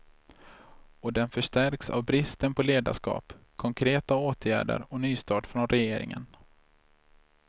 Och den förstärks av bristen på ledarskap, konkreta åtgärder och nystart från regeringen.